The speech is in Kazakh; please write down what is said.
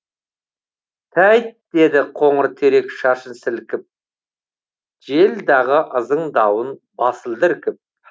тәйт деді қоңыр терек шашын сілкіп жел дағы ызыңдауын басылды іркіп